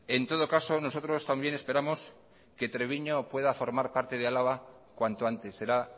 en todo caso nosotros también esperamos que treviño pueda formar parte de álava cuanto antes será